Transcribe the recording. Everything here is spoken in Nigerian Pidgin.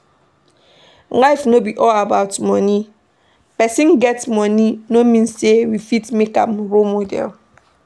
Life no be all about money, person get money no mean say we fit make am role model